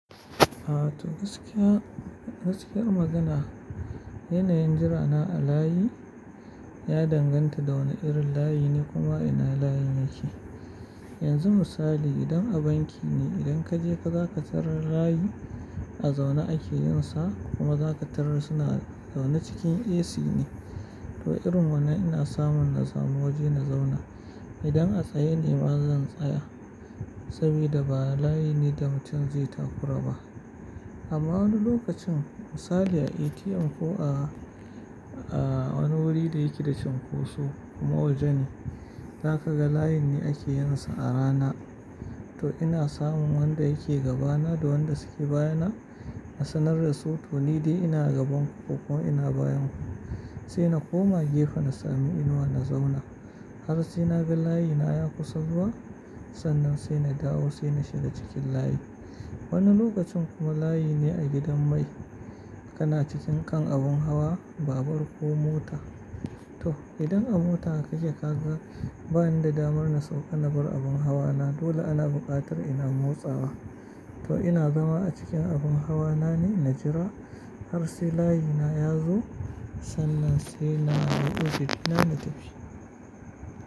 A to gaskiya, gaskiyar magana yanayin jira na a layi ya danganta da wane irin layi ne kuma ina layin yake. Yanzu misali idan a banki ne, idan kaje ka za ka tarar da layi a zaune ake yin sa kuma za ka tarar suna zaune cikin AC ne. To irin wannan ina samun na samu waje na zauna. Idan a tsaye ne ma zan tsaya saboda ba layi ne da mutum zai takura ba. Amma wani lokacin misali a ATM ko a, a wani wuri da yake da cunkoso kuma waje ne, za ka ga layin ne ake yin sa a rana. To ina samun wanda yake gabana da wanda suke bayana a sanar da su to ni dai ina gaban ku ko kuma ina bayan ku. Sai na koma gefe na samu inuwa na zauna. Har sai na ga layina ya kusa zuwa, sannan sai na dawo sai na shiga cikin layi. Wani lokacin kuma layi ne a gidan mai. Kana cikin kan abun hawa, babur ko mota. To idan a mota kake kaga bani da damar na sauka na bar abun hawa na dole ana buƙatar ina motsawa. To ina zama a cikin abun hawa na ne na jira har sai layina ya zo sannan sai na hau mashin dina na tafi.